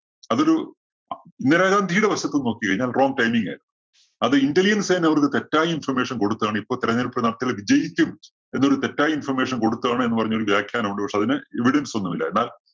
അതൊരു ഇന്ദിരാഗാന്ധിയുടെ വശത്ത് നിന്ന് നോക്കി കഴിഞ്ഞാല്‍ wrong timing അത് intelligence സേന അവര്‍ക്ക് തെറ്റായ information കൊടുത്തതാണ് ഇപ്പോ തെരഞ്ഞെടുപ്പ് നടത്തിയാല്‍ വിജയിക്കും എന്നൊരു തെറ്റായ information കൊടുത്തതാണ് എന്ന് പറഞ്ഞൊരു വ്യാഖ്യാനം ഉണ്ട്. പക്ഷേ അതിന് evidence ഒന്നുമില്ല. എന്നാല്‍